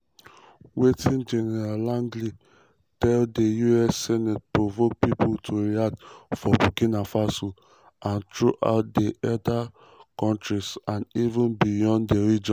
wetin general langley tell di us senate provoke pipo to react for burkina faso and throughout di esa kontris and even beyond di region.